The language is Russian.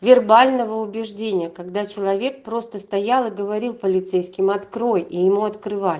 вербального убеждения когда человек просто стоял и говорил полицейским открой и ему открывали